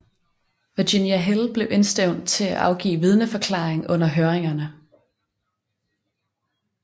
Virginia Hill blev indstævnt til at afgive vidneforklaring under høringerne